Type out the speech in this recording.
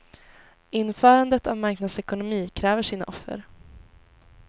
Införandet av en marknadsekonomi kräver sina offer.